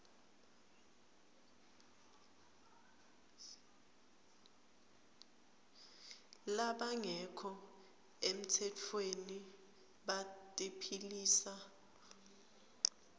labangekho emtsetfweni batiphilisa